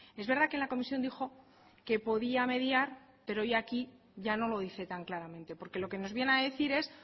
es verdad que en la comisión dijo que podía mediar pero hoy aquí ya no lo dice tan claramente porque lo que nos viene a decir es